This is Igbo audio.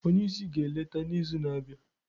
onye isi ga-eleta n'izu na-abịa